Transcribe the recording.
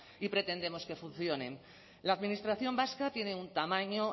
y pretendemos que funcione la administración vasca tiene un tamaño